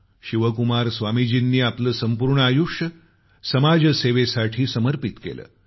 शिवकुमार स्वामीजीनी आपले संपूर्ण आयुष्य समाजसेवेसाठी समर्पित केले